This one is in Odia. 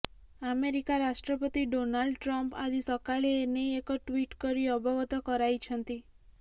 ଆମେରିକା ରାଷ୍ଟ୍ରପତି ଡୋନାଲ୍ଡ ଟ୍ରମ୍ପ ଆଜି ସକାଳେ ଏ ନେଇ ଏକ ଟ୍ୱିଟ୍ କରି ଅବଗତ କରାଇଛନ୍ତି